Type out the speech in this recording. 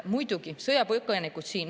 Muidugi, sõjapõgenikud on siin.